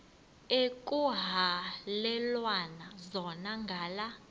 ekuhhalelwana zona ngala